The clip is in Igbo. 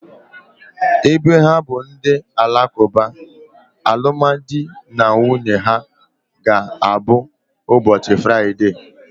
Ebe ha bụ ndị Alakuba, alụmdi na nwunye ha ga abụ ụbọchị Fraịdee